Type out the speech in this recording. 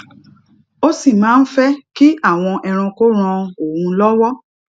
ó sì máa ń fé kí àwọn ẹranko ran òun lówó